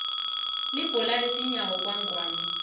libhola letinyawo kangwane